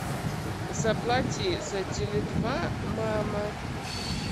заплати за теле два мама